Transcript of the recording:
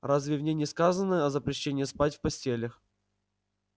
разве в ней не сказано о запрещении спать в постелях